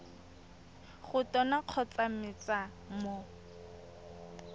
go tona kgotsa mec mo